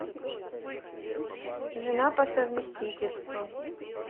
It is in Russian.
жена по совместительству